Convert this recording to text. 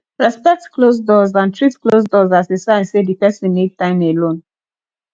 respect closed doors and treat closed doors as a sign sey di person need time alone